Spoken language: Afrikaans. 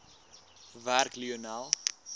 werk lionel